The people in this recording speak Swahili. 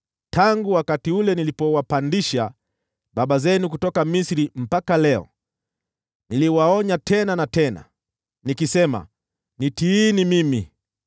Tangu wakati ule niliwapandisha baba zenu kutoka Misri mpaka leo, niliwaonya tena na tena, nikisema “Nitiini mimi.”